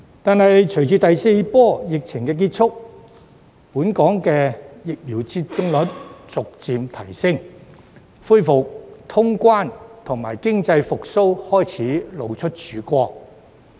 但是，隨着第四波疫情結束，以及本港的疫苗接種率逐步提升，恢復通關和經濟復蘇的曙光開始展現。